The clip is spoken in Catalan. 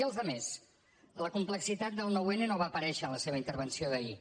i els altres la complexitat del nou n no va aparèixer en la seva intervenció d’ahir